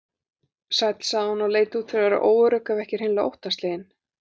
Sæll, sagði hún og leit út fyrir að vera óörugg, ef ekki hreinlega óttaslegin.